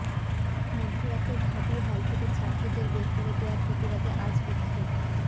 মধ্যরাতে ঢাবি হল থেকে ছাত্রীদের বের করে দেয়ার প্রতিবাদে আজ বিক্ষোভ